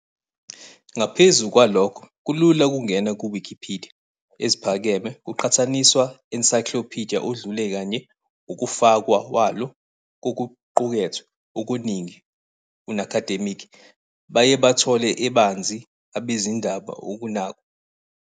Ngaphezu kwalokho, kulula ukungena ku-Wikipidiya eziphakeme kuqhathaniswa ensayiklopidiya odlule kanye ukufakwa walo kokuqukethwe okuningi unacademic baye bathola ebanzi abezindaba ukunakwa.